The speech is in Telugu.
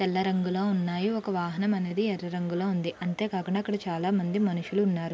తెల్ల రంగులో ఉన్నాయి.ఒక వాహనం అనేది ఎర్ర రంగులో ఉంది.అంతే కాకుండ అక్కడ చాలా మంది మనుషులు ఉన్నారు.